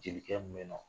Jelikɛn mun be yen nɔ